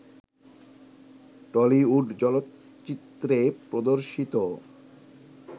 Tollywood চলচ্চিত্রে প্রদর্শিত